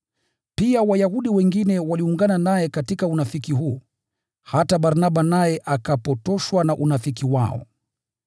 Pia Wayahudi wengine waliungana naye katika unafiki huu, hata Barnaba naye akapotoshwa na unafiki wao.